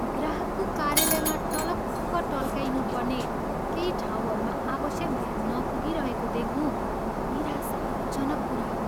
ग्राहकको कार्यालयमा टलक्क टल्काइनुपर्ने केही ठाउँहरूमा आवश्यक ध्यान नपुगिरहेको देख्नु निराशाजनक कुरा हो।